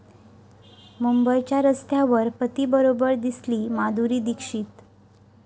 मुंबईच्या रस्त्यावर पतीबरोबर दिसली माधुरी दीक्षित